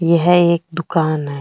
यह एक दुकान है।